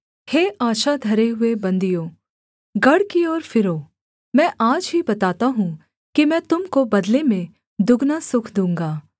हे आशा धरे हुए बन्दियों गढ़ की ओर फिरो मैं आज ही बताता हूँ कि मैं तुम को बदले में दुगना सुख दूँगा